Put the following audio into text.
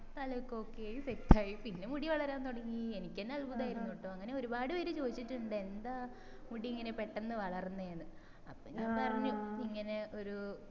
തല ഒക്കെ okay ആയി set ആയി പിന്നെ മുടി വളരാൻ തൊടങ്ങി എനിക്കെന്നെ അത്ഭുതായിരുന്നുട്ടോ അങ്ങനെ ഒരുപാട് പേര് ചൊയിച്ചിട്ടിണ്ട് എന്താ മുടി എങ്ങനെ പെട്ടന്ന് വളർന്നെന്ന് അപ്പൊ ഞാൻ പറഞ്ഞു ഇങ്ങനെ ഒരു